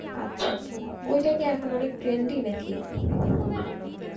আচ্ছা আচ্ছা, ঐটা কি এখন অনেক trendy নাকি?